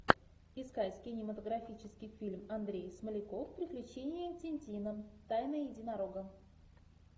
искать кинематографический фильм андрей смоляков приключения тинтина тайна единорога